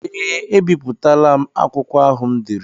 Ee ebipụtala m akwụkwọ ahụ m dere.